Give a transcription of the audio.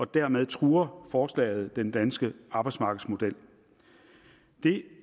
dermed truer forslaget den danske arbejdsmarkedsmodel det